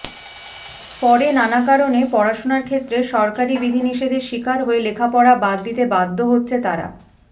পরে নানা কারণে পড়াশোনার ক্ষেত্রে সরকারি বিধিনিষেধের শিকার হয়ে লেখাপড়া বাদ দিতে বাধ্য হচ্ছে তারা